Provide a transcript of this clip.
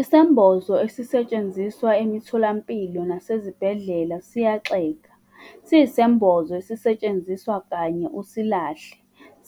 Isembozo esisetshenziswa emitholampilo nasezibhedlela siyaxega, siyisembozo esisetshenziswa kanye usilahle,